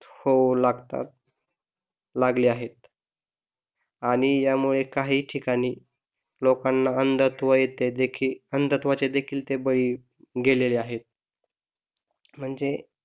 होऊ लागतात, लागले आहेत आणि या मुळेच काही ठिकाणी लोकांना अंधत्व येते अंधत्वाचे देखील ते बळी गेलेले आहेत म्हणजे,